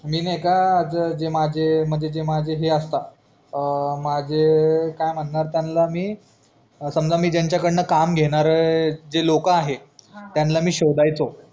मी नाय का जे माझे हे असतात अ माझे काय म्हणार त्यांना मी समजा मी त्यांचा कडनं काम घेणार जे लोक आहेत त्यांला मी शोदयचो